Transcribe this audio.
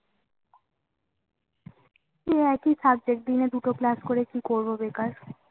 একই Subject দিনে দুটো Class করে কি করবো বেকার